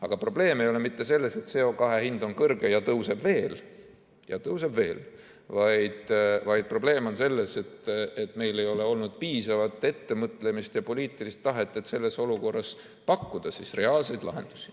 Aga probleem ei ole mitte selles, et CO2 hind on kõrge ja tõuseb veel – ja tõuseb veel –, vaid probleem on selles, et meil ei ole olnud piisavalt ettemõtlemist ja poliitilist tahet, et selles olukorras pakkuda reaalseid lahendusi.